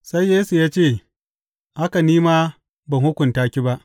Sai Yesu ya ce, Haka ni ma ban hukunta ki ba.